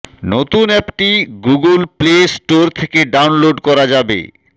নতুন অ্যাপটি Google Play Store থেকে ডাউনলোড করা যাবে